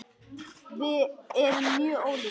Við erum mjög ólíkar.